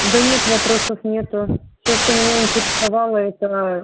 да нет вопросов нету все что меня интересовало это